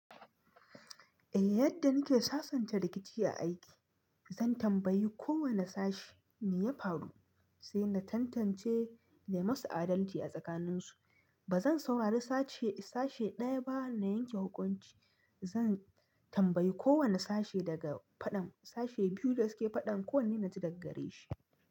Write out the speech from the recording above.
Yadda nike sassanta rikici a aiki, zan tambayi kowane sashe me ya faru sai na tantance na yi musu adalci a tsakaninsu. Ba zan saurari sashe ɗaya ba na yanke hukunci. Zan tambayi kowane sashe daga faɗan sashe biyu da su ke faɗan kowanne na ji da gare shi.